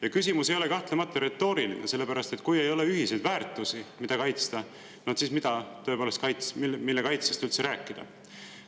" See küsimus ei ole kahtlemata retooriline, sellepärast et kui ei ole ühiseid väärtusi, mida kaitsta, siis tõepoolest, mille kaitsest üldse rääkida?